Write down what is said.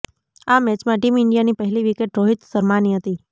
આ મેચમાં ટીમ ઈન્ડિયાની પહેલી વિકેટ રોહિત શર્માની હતી